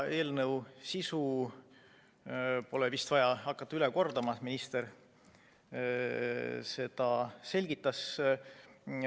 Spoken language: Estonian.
Eelnõu sisu pole vist vaja hakata üle kordama, minister seda juba selgitas.